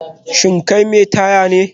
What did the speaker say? Shin kai mai taya ne?